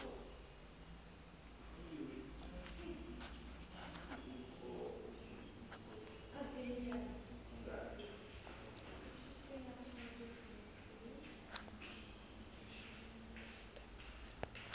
e be se atametseng ho